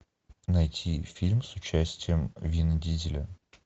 найти фильм с участием вина дизеля